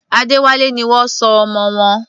Adéwálé ni wọ́n sọ ọmọ wọn.